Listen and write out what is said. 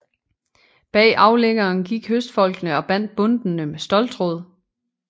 Bag aflæggeren gik høstfolkene og bandt bundtene med ståltråd